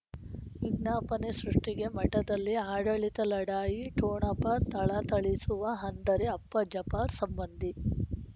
ವಿಜ್ಞಾಪನೆ ಸೃಷ್ಟಿಗೆ ಮಠದಲ್ಲಿ ಆಡಳಿತ ಲಢಾಯಿ ಠೊಣಪ ಥಳಥಳಿಸುವ ಹಂದರೆ ಅಪ್ಪ ಜಪರ್ ಸಂಬಂಧಿ